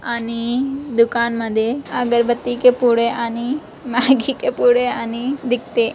आणि दुकानमध्ये अगरबत्तीचे पुडे आणि मॅगी के पुडे आणि दिखते.